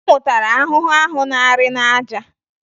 Ọ nwụtara ahụhụ ahụ na-arị n'aja